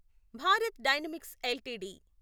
Bharat Dynamics LTD